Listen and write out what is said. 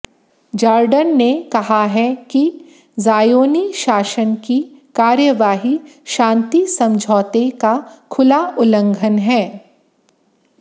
Jordan ने कहा है कि ज़ायोनी शासन की कार्यवाही शांति समझौते का खुला उल्लंघन है